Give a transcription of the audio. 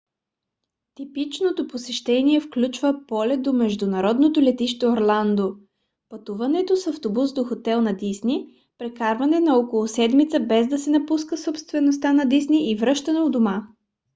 типичното посещение включва полет до международното летище орландо пътуване с автобус до хотел на дисни прекарване на около седмица без да се напуска собствеността на дисни и връщане у дома